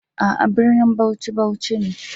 A'a, brinin Bauchi, Bauchi ne.